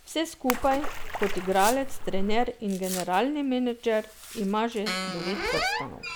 Vse skupaj, kot igralec, trener in generalni menedžer, ima že devet prstanov.